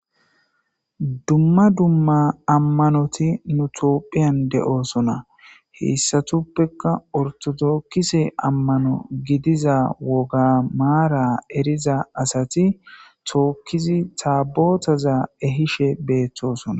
Dumma dumma amanoti nu toophiyan de,oosona heyssatuppekka ortodookkise ammano gidiza woga maara eriza asati tookkizi taabootaza ehishe beeththosona.